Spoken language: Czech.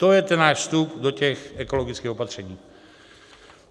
To je ten náš vstup do těch ekologických opatření.